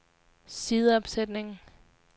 sideopsætning